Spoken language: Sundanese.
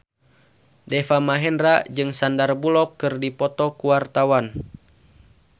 Deva Mahendra jeung Sandar Bullock keur dipoto ku wartawan